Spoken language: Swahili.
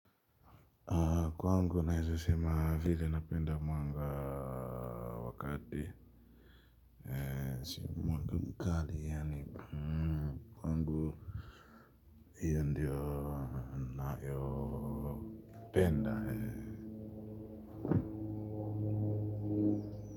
Kwangu naweza sema vile napenda mwanga wa kati si mwanga mkali yaani kwangu hio ndio nayopenda.